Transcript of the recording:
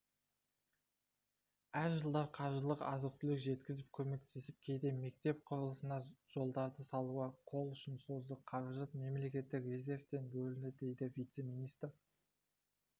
әр жылдары қаржылық азық-түлік жеткізіп көмектестік кейде мектеп құрылысына жолдарды салуға қол ұшын создық қаражат мемлекеттік резервтен бөлінді дейді вице-министр